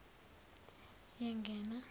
yangena